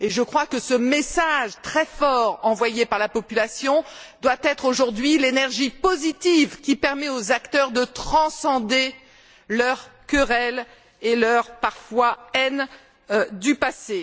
Je crois que ce message très fort, envoyé par la population, doit être aujourd'hui l'énergie positive qui permet aux acteurs de transcender leurs querelles et, parfois, leur haine du passé.